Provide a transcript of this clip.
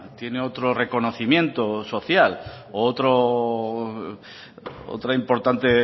tiene otro reconocimiento social u otra importante